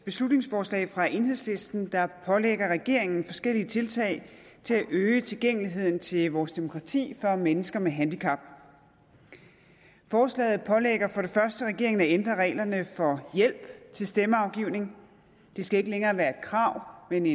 beslutningsforslag fra enhedslisten der pålægger regeringen forskellige tiltag til at øge tilgængeligheden til vores demokrati for mennesker med handicap forslaget pålægger for det første regeringen at ændre reglerne for hjælp til stemmeafgivning det skal ikke længere være et krav men